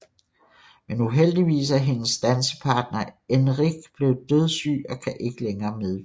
Men uheldigvis er hendes dansepartner Enric blevet dødssyg og kan ikke længere medvirke